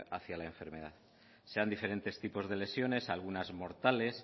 hacia la enfermedad se dan diferentes tipos de lesiones algunas mortales